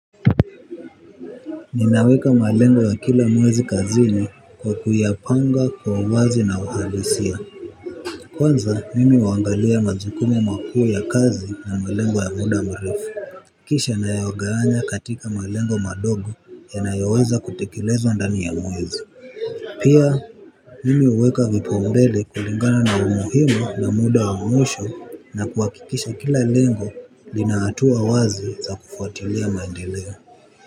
Ninaweka malengo ya kila mwezi kazini, kwa kuyapanga kwa uwazi na uhalisia. Kwanza, mimi huwangalia majukumu makuu ya kazi, na malengo ya muda mrefu. Kisha, naya gawanya katika malengo madogo, yanayoweza kutekelezwa ndani ya mwezi. Pia, mimi huweka vipaumbele kulingana na umuhimu na muda wa mwisho, na kuwakikisha kila lengo, lina hatua wazi za kufuatilia maendeleo.